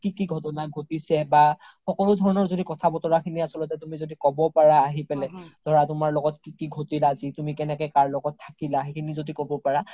কি কি ঘতনা ঘ্তিছে বা সকলো ধৰণৰ য্দি কথা বতোৰা খিনি তুমি য্দি আচল্তে ক্'ব পাৰা আহি পেলে ধৰা তুমাৰ লগত কি কি ঘ্তিল আজি তুমি কেনেকে কাৰ লগত থাকিলা তুমি য্দি ক্'ব পাৰা